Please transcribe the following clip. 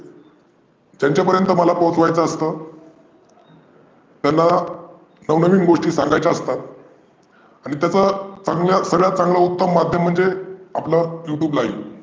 त्यांच्यापर्यांत मला पोचवायचं असतं. त्यांना नवनवीन गोष्टी सांगायच्या असतात. आणि त्याचं सर्वांत चांगलंं माध्यम म्हणजे आपलं YouTube live.